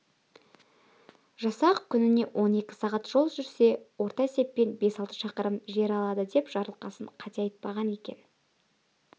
жасақ күніне он екі сағат жол жүрсе орта есеппен бес-алты шақырым жер алады деп жарылқасын қате айтпаған екен